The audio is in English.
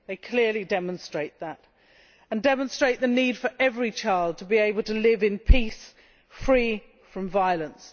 They clearly demonstrate also the need for every child to be able to live in peace, free from violence.